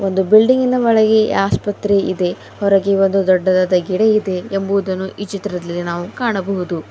Building ಗಿನ ಒಳಗೆ ಆಸ್ಪತ್ರೆ ಇದೆ ಹೊರಗೆ ಒಂದು ದೊಡ್ಡದಾದ ಗಿಡ ಇದೆ ಎಂಬುವುದನ್ನು ಈ ಚಿತ್ರದಲ್ಲಿ ನಾವು ಕಾಣಬಹುದು.